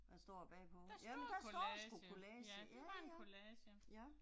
Der står collage, ja det var en collage